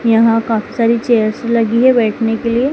यहां काफी सारी चेयर्स लगी है बैठने के लिए।